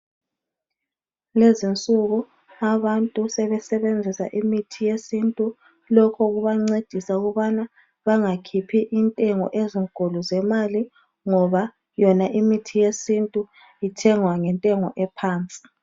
Kulezi insuku abantu sebesebenzisa imithi yesintu lokhu kubancedisa ukubana bengakhiphi intengo ezinkulu zemali ngoba yona imithi yesintu ithengwa ngentengo ephansi.